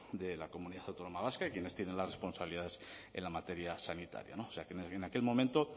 de la comunidad autónoma vasca y quienes tienen las responsabilidades en la materia sanitaria o sea que en aquel momento